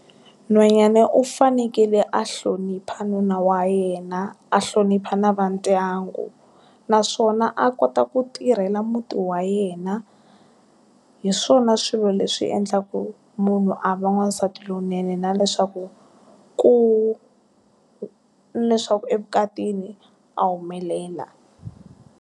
Nhwanyana u fanekele a hlonipha nuna wa yena, a hlonipha na va ndyangu, naswona a kota ku tirhela muti wa yena. Hi swona swilo leswi endlaka munhu a va n'wansati lonene na leswaku ku, leswaku evukatini, a humelela.